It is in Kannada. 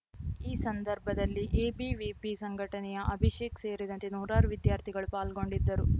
ಈ ಸಂದರ್ಭದಲ್ಲಿ ಎಬಿವಿಪಿ ಸಂಘಟನೆಯ ಅಭಿಷೇಕ್‌ ಸೇರಿದಂತೆ ನೂರಾರು ವಿದ್ಯಾರ್ಥಿಗಳು ಪಾಲ್ಗೊಂಡಿದ್ದರು